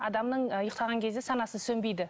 адамның ы ұйықтаған кезде санасы сөнбейді